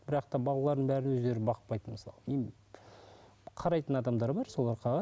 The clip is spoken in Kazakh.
бірақ та балаларының бәрін өздері бақпайды мысалы қарайтын адамдары бар солар кағады